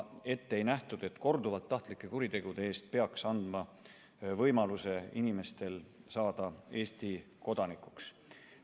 Ei nähtud ette, et korduvalt tahtlike kuritegude eest peaks inimesele andma võimaluse saada Eesti kodanikuks.